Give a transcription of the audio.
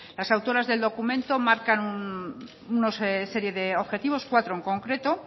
las autoras del documento marcan una serie de objetivos cuatro en concreto